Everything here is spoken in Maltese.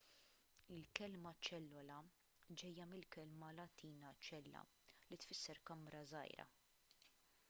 il-kelma ċellola ġejja mill-kelma latina cella li tfisser kamra żgħira